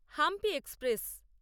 Hampi express